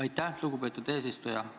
Aitäh, lugupeetud eesistuja!